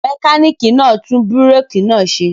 Mẹkánìkì náà ń tún búrékì náà ṣe